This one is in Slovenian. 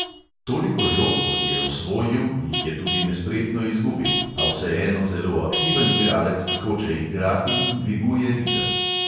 Toliko žog, kot je osvojil, jih je tudi nespretno izgubil, a vseeno zelo aktiven igralec, ki hoče igrati in dviguje ritem.